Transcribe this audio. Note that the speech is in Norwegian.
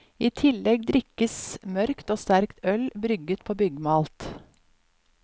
I tillegg drikkes mørkt og sterkt øl brygget på byggmalt.